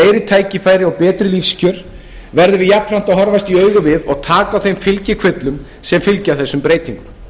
tækifæri og betri lífskjör verðum við jafnframt að horfast í augu við og taka á þeim fylgikvillum sem fylgja þessum breytingum